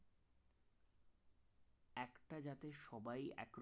একটা জাতের সবাই এক